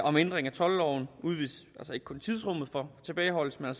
om ændring af toldloven udvides ikke kun tidsrummet for tilbageholdelsen